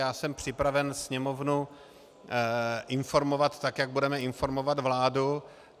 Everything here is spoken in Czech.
Já jsem připraven Sněmovnu informovat tak, jak budeme informovat vládu.